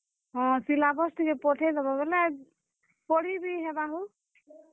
ହଁ, syllabus ଟିକେ ପଠେଇ ଦେବବେଲେ, ପଢିବି ହେବା ହୋ ।